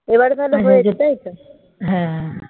এবার তাহলে হয়েছে তাই তো